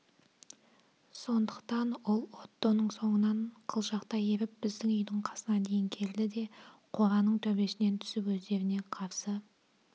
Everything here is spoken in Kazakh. сондықтан ол оттоның соңынан қылжақтай еріп біздің үйдің қасына дейін келді де қораның төбесінен түсіп өздеріне қарсы